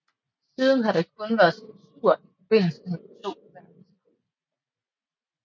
Siden har der kun været censur i forbindelse med de to verdenskrige